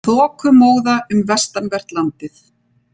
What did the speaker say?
Þokumóða um vestanvert landið